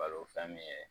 Balo fɛn min ye